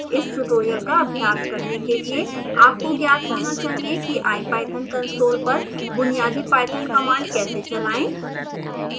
इस ट्यूटोरियल का अभ्यास करने के लिए आपको ज्ञात होना चाहिए कि ipython console पर बुनियादी पाइथन कमांड कैसे चलाएं